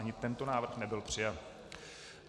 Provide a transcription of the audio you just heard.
Ani tento návrh nebyl přijat.